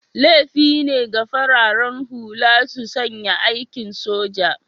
Laifi ne ga fararen hula su sanya kakin soja